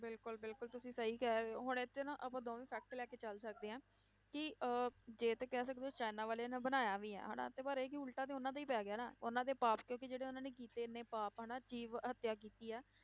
ਬਿਲਕੁਲ ਬਿਲਕੁਲ ਤੁਸੀਂ ਸਹੀ ਕਹਿ ਰਹੇ ਹੋ ਹੁਣ ਇਹ 'ਚ ਨਾ ਆਪਾਂ ਦੋਵੇਂ fact ਲੈ ਕੇ ਚੱਲ ਸਕਦੇ ਹਾਂ, ਕਿ ਅਹ ਜੇ ਤਾਂ ਕਹਿ ਸਕਦੇ ਹੋ ਚਾਈਨਾ ਵਾਲਿਆਂ ਨੇ ਬਣਾਇਆ ਵੀ ਆ ਹਨਾ ਤੇ ਪਰ ਇਹ ਉਲਟਾ ਤੇ ਉਹਨਾਂ ਤੇ ਹੀ ਪੈ ਗਿਆ ਨਾ, ਉਹਨਾਂ ਦੇ ਪਾਪ ਕਿਉਂਕਿ ਜਿਹੜੇ ਉਹਨਾਂ ਨੇ ਕੀਤੇ ਨੇ ਪਾਪ ਹਨਾ, ਜੀਵ ਹੱਤਿਆ ਕੀਤੀ ਆ,